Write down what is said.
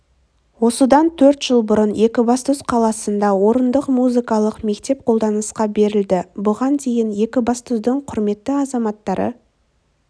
осыдан төрт жыл бұрын екібастұз қаласында орындық музыкалық мектеп қолданысқа берілді бұған дейін екібастұздың құрметті азаматтары